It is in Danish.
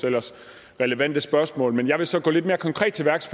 ellers relevante spørgsmål men jeg vil så gå lidt mere konkret til værks